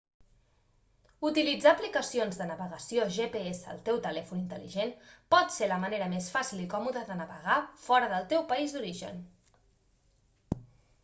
utilitzar aplicacions de navegació gps al teu telèfon intel·ligent pot ser la manera més fàcil i còmoda de navegar fora del teu país d'origen